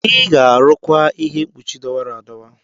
Ị ga-arụkwa ihe mkpuchi dọwara adọwa!